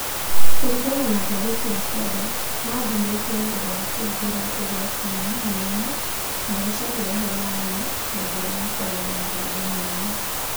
Kũringana na ngathĩti ya standard, maathurĩtwo nĩ ũndũ wa kũingĩra ũgwati-inĩ mũnene magĩcaria ũhoro wa ma, na njĩra ya kwaria na mũgambo mũnene.